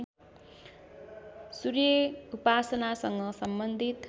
सूर्य उपासनासँग सम्बन्धित